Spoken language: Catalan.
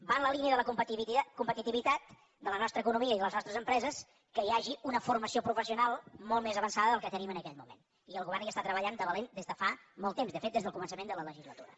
va en la línia de la competitivitat de la nostra economia i de les nostres empreses que hi hagi una formació professional molt més avançada del que tenim en aquest moment i el govern hi està treballant de valent des de fa molt temps de fet des del començament de la legislatura